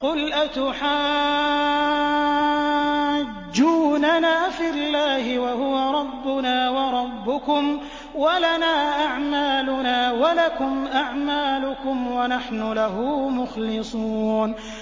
قُلْ أَتُحَاجُّونَنَا فِي اللَّهِ وَهُوَ رَبُّنَا وَرَبُّكُمْ وَلَنَا أَعْمَالُنَا وَلَكُمْ أَعْمَالُكُمْ وَنَحْنُ لَهُ مُخْلِصُونَ